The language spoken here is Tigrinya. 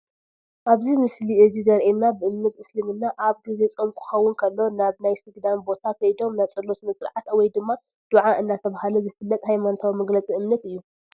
ኣብዚ ምስሊ እዚ ዘሪኤና ብእምነት እስልምና ኣብ ጊዜ ፆም ክኸውን ከሎ ናብ ናይ ስግዳን ቦታ ከይዶም ናይ ፀሎት ስነ-ስርዓት ወይ ድማ ዱዓ እናተባህለ ዝፍለጥ ሃይማኖታዊ መግለፂ እምነት እዩ